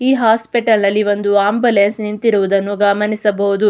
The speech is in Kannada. ಈ ಹಾಸ್ಪಿಟಲ್ ಅಲ್ಲಿ ಒಂದು ಆಂಬುಲೆನ್ಸ್ ನಿಂತಿರುವುದನ್ನು ನಾವು ಗಮನಿಸಬಹುದು.